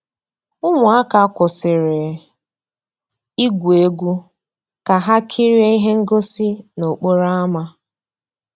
Ụmụ́àká kwụ́sị́rí ìgwú égwu ká há kìríé íhé ngósì n'òkpòró ámá.